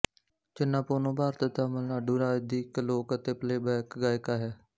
ਚਿੰਨਾਪੋਨੂੰ ਭਾਰਤ ਦੇ ਤਾਮਿਲਨਾਡੂ ਰਾਜ ਦੀ ਇੱਕ ਲੋਕ ਅਤੇ ਪਲੇਬੈਕ ਗਾਇਕਾ ਹੈ